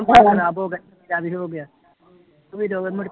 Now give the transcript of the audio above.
ਖਰਾਬ ਹੋ ਗਿਆ ਹੋ ਗਿਆ ਵੀਰੋ ਵੀ ਮੁੜਕੇ